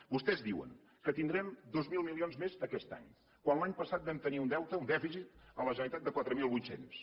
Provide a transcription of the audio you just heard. vostès diuen que tindrem dos mil milions més aquest any quan l’any passat vam tenir un deute un dèficit a la generalitat de quatre mil vuit cents